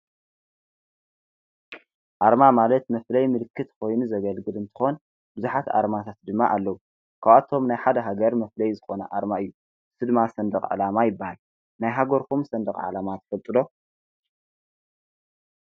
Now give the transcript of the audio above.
ኣርማ ማለት መፍለይ ምልክት ኾይኑ ዘገልግድ እንተኾን ብዙኃት ኣርማታት ድማ ኣለዉ ኳኣቶም ናይ ሓደ ሕገር መፍለይ ዝኾነ ኣርማ እዩ ስድማ ሠንድቕ ዓላማ ይበሃል ናይ ሓጐርኩም ዝሰንድቕ ዓላማ ትፈጥሎ